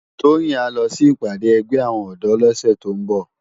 Toyin á lò si ipàdé ègbè áwòn òdò lòsè tó n bò